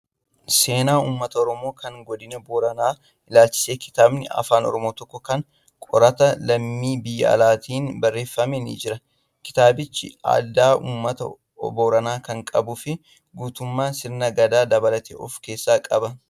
Seenaa uummata oromoo kan Godina Booranaa ilaalchisee kitaabni afaan oromoo tokko kan qorataa lammii biyya alaatiin barreeffame ni jira. Kitaabichi aadaa uummata Booranaa kan qabuu fi guutummaa sirna gadaa dabalatee of keessaa qaba